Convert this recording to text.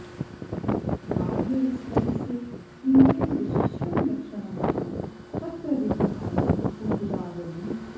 बाह्यविस्तरस्य किञ्चन विशिष्टं लक्षणं नाम तत्र विद्यमाना कुकुदावली